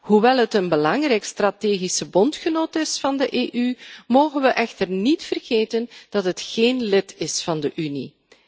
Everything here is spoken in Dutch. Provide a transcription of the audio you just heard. Hoewel het land een belangrijke strategische bondgenoot is van de EU, mogen we echter niet vergeten dat het geen lid is van de Unie.